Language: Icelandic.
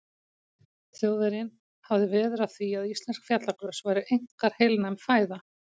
Þjóðverjinn hafði veður af því, að íslensk fjallagrös væru einkar heilnæm fæða.